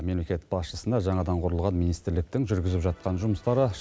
мемлекет басшысына жаңадан құрылған министрліктің жүргізіп жатқан жұмыстары